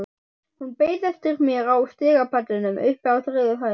Hún beið eftir mér á stigapallinum uppi á þriðju hæð.